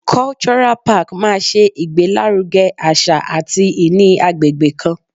Cultural park máa ṣe ìgbé lárugẹ àṣà àti ìní agbègbè kan.